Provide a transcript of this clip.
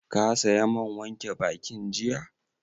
Ka saya man wanke bakin jiya?